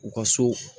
U ka so